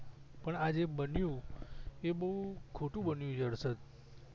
પણ આ જે બન્યું એ બહુ ખોટું બન્યું છે હરસદ